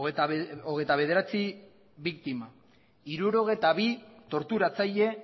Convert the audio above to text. hogeita bederatzi biktima hirurogeita bi torturatzaile